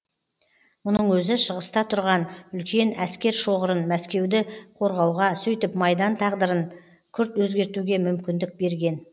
мұның өзі шығыста тұрған үлкен әскер шоғырын мәскеуді қорғауға сөйтіп майдан тағдарын күрт өзгертуге мүмкіндік берген